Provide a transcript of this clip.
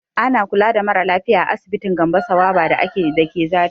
Ana kula da mara lafiya a asibitin Gambo Sawaba da ke Zariya.